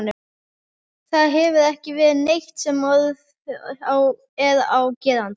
Það hefur ekki verið neitt sem orð er á gerandi.